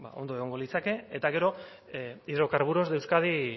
ondo egongo litzateke eta gero hidrocarburos de euskadi